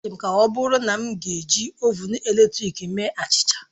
Ọ dị m ka ọbụrụ na m ga-eji Ovụn eletrik eme achịcha